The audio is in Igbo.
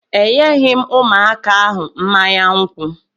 Enyeghị m ụmụaka ahụ mmanya nkwụ